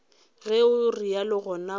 ge o realo gona go